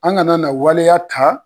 An kana na waleya ta